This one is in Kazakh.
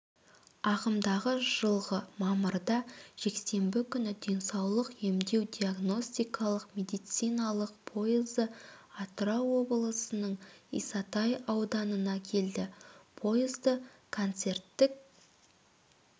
ағымдағы жылғы мамырда жексенбі күні денсаулық емдеу-диагностикалық медициналық пойызы атырау облысының исатай ауданына келді пойызды концерттік